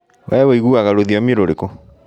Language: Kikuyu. We wĩiguaga rũthiomi rũrikũ?